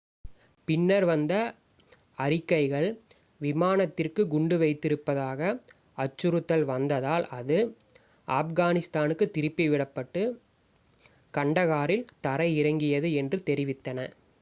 பின்னர் வந்த அறிக்கைகள் விமானத்திற்கு குண்டு வைத்திருப்பதாக அச்சுறுத்தல் வந்ததால் அது ஆப்கானிஸ்தானுக்குத் திருப்பி விடப்பட்டு கண்டகாரில் தரை இறங்கியது என்று தெரிவித்தன